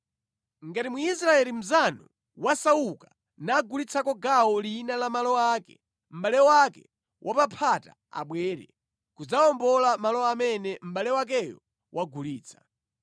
“ ‘Ngati Mwisraeli mnzanu wasauka nagulitsako gawo lina la malo ake, mʼbale wake wapaphata abwere kudzawombola malo amene mʼbale wakeyo wagulitsa.